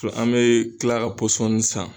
to an bɛ tila ka pɔsɔni san